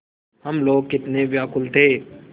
हम लोग कितने व्याकुल थे